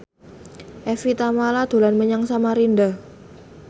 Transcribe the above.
Evie Tamala dolan menyang Samarinda